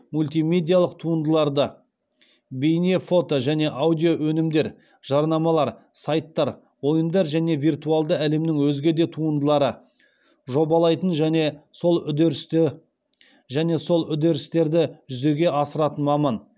мультимедиалық туындыларды жобалайтын және сол үдерістерді жүзеге асыратын маман